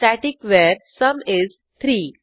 static वर sum is 3